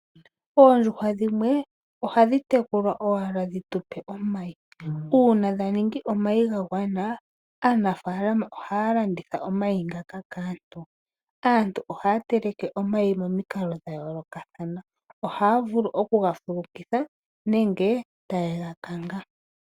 Oondjuhwa dhimwe ohadhi tekulwa owala dhi tupe omayi. Uuna dha ningi omayi ga gwana, aanafaalama ohaya landitha omayi ngaka kaantu. Aantu ohaya teleke omayi momikalo dha yoolokathana. Ohaya vulu oku ga fulukitha nenge taye ga kanga.